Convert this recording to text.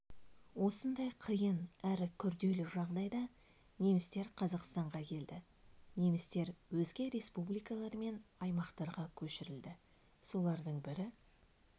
осындай қиын әрі күрделі жағдайда немістер қазақстанға келді немістер өзге республикалар мен аймақтарға көшірілді солардың бірі